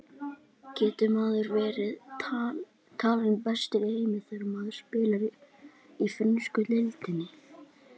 Getur maður verið talinn bestur í heimi þegar maður spilar í frönsku deildinni?